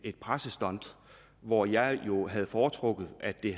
et pressestunt hvor jeg jo havde foretrukket at det